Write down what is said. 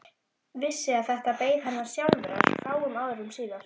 Vissi að þetta beið hennar sjálfrar fáum árum síðar.